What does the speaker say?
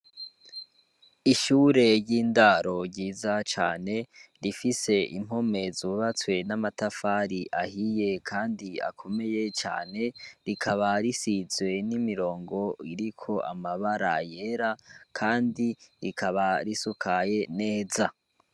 Ishure ry'indaro ryiza cane, rifise impome zubatswe n'amatafari ahiye kandi akomeye cane, rikaba risizwe n'imirongo iriko amabara yera, kandi ikaba isakaye neza.